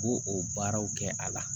U b'o o baaraw kɛ a la